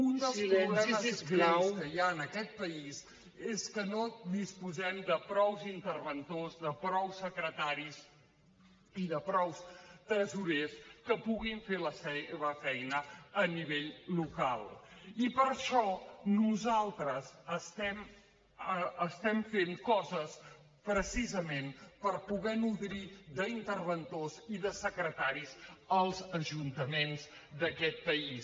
un dels problemes greus que hi ha en aquest país és que no disposem de prou interventors de prou secretaris i de prou tresorers que puguin fer la seva feina a nivell local i per això nosaltres estem fent coses precisament per poder nodrir d’interventors i de secretaris els ajuntaments d’aquest país